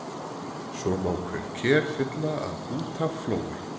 Svo má hver ker fylla að út af flói.